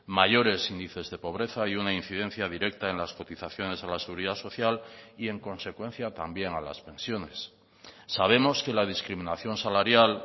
mayores índices de pobreza y una incidencia directa en las cotizaciones a la seguridad social y en consecuencia también a las pensiones sabemos que la discriminación salarial